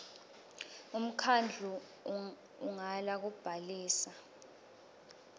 umkhandlu ungala kubhalisa